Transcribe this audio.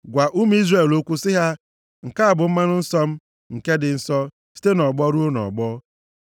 Gwa ụmụ Izrel okwu sị ha, ‘Nke a bụ mmanụ nsọ m, nke dị nsọ site nʼọgbọ ruo nʼọgbọ.